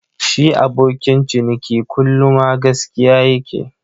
Shi abokin ciniki kullu ma gaskiya ya ke.